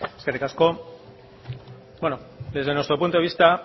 eskerrik asko bueno desde nuestro punto de vista